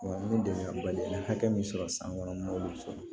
Wa n ye dɛmɛbaliya ni hakɛ min sɔrɔ san kɔnɔ n b'olu sɔrɔ